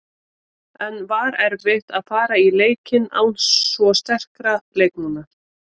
En var erfitt að fara í leikinn án svo sterkra leikmanna?